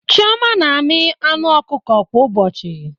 Chioma na-amị anụ ọkụkọ kwa ụbọchị